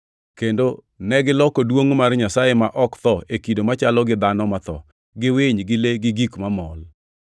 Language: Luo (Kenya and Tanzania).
kendo negiloko duongʼ mar Nyasaye ma ok tho e kido machalo gi dhano matho, gi winy, gi le gi gik mamol.